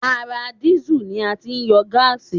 Ara dísù ni a ti ń yọ gáàsì